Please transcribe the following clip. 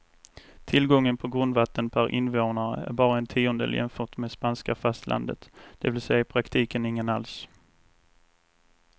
Tillgången på grundvatten per invånare är bara en tiondel jämfört med spanska fastlandet, det vill säga i praktiken ingen alls.